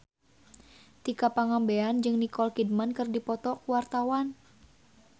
Tika Pangabean jeung Nicole Kidman keur dipoto ku wartawan